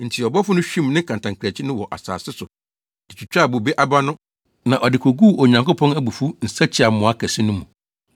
Enti ɔbɔfo no hwim ne kantankrankyi no wɔ asase so de twitwaa bobe aba no na ɔde koguu Onyankopɔn abufuw nsakyiamoa kɛse no mu.